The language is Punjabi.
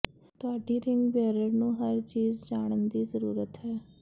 ਤੁਹਾਡੀ ਰਿੰਗ ਬੇਅਰਰ ਨੂੰ ਹਰ ਚੀਜ਼ ਜਾਣਨ ਦੀ ਜ਼ਰੂਰਤ ਹੈ